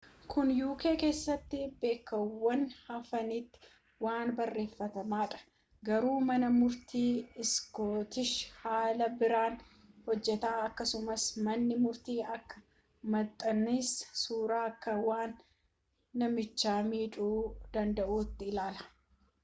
kun uk keessaa bakkeewwan hafanitti waan baratamaadha garuu mana murtii iskootish haala biraan hojjata akkasumas manni murtii akka maxxansii suuraa akka waan namicha miidhuu danda'uutti ilaala